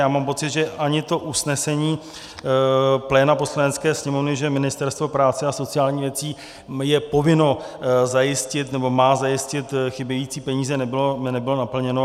Já mám pocit, že ani to usnesení pléna Poslanecké sněmovny, že Ministerstvo práce a sociálních věcí je povinno zajistit, nebo má zajistit chybějící peníze, nebylo naplněno.